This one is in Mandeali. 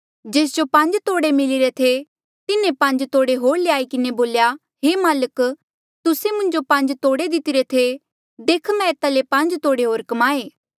जेस जो पांज तोड़े मिलीरे थे तिन्हें पांज तोड़े होर ल्याई किन्हें बोल्या हे माल्क तुस्से मुन्जो पांज तोड़े दितरे थे देख मैं एता ले पांज तोड़े होर कमाए